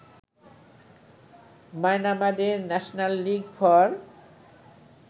মায়ানমারের national league for